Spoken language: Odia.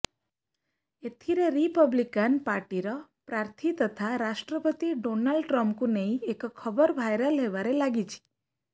ଏଥିରେ ରିପବ୍ଲିକାନ ପାର୍ଟିର ପ୍ରାର୍ଥୀ ତଥା ରାଷ୍ଟ୍ରପତି ଡୋନାଲ୍ଡ ଟ୍ରମ୍ପଙ୍କୁ ନେଇ ଏକ ଖବର ଭାଇରାଲ ହେବାରେ ଲାଗିଛି